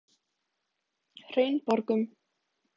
Hraunborgum